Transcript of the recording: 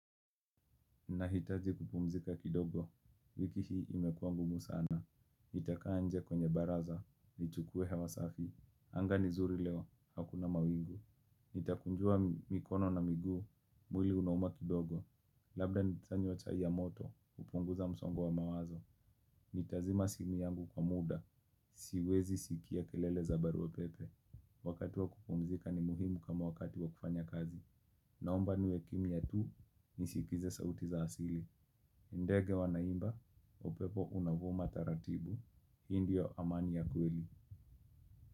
Nahitaji kupumzika kidogo, wiki hii imekuwa ngumu sana. Nitakaa nje kwenye baraza, nichukue hewa safi. Anga ni zuri leo, hakuna mawingu. Nitakunjua mikono na miguu, mwili unauma kidogo. Labda nitanywa chai ya moto, kupunguza msongo wa mawazo. Nitazima simi yangu kwa muda, siwezi sikia kelele za baru wa pepe. Wakati wa kupumzika ni muhimu kama wakati wa kufanya kazi. Naomba niwe kimya tu, nisikize sauti za asili. Ndege wanaimba, upepo unavuma taratibu, hi ndiyo amani ya kweli.